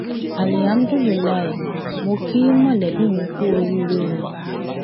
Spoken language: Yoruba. alihámúdùlùilàá mọ kí mọlẹbí mi kú oríire o